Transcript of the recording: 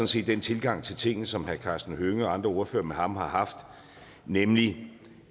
set den tilgang til tingene som herre karsten hønge og andre ordførere med ham har haft nemlig